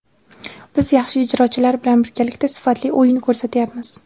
Biz yaxshi ijrochilar bilan birgalikda sifatli o‘yin ko‘rsatyapmiz.